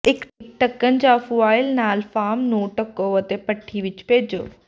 ਇਕ ਢੱਕਣ ਜਾਂ ਫੁਆਇਲ ਨਾਲ ਫਾਰਮ ਨੂੰ ਢੱਕੋ ਅਤੇ ਭਠੀ ਵਿਚ ਭੇਜੋ